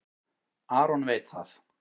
Aron veit það.